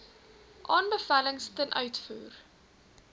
aanbevelings ten uitvoer